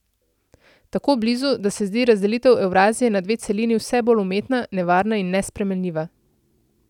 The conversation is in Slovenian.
Tako blizu, da se zdi razdelitev Evrazije na dve celini vse bolj umetna, nevarna in nesprejemljiva.